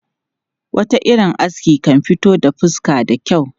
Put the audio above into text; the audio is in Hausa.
Wata irin aski kan fito da fuska da kyau.